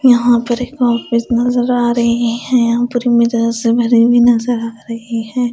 यहाँ पर एक ऑफिस नजर आ रही है यहाँ भरी हुई नजर आ रही है।